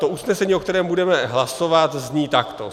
To usnesení, o kterém budeme hlasovat, zní takto: